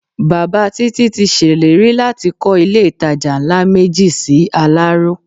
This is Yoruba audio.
Bàbá Títí ti ṣèlérí láti kọ́ ilé-ìtajà ńlá méjì sí Aláró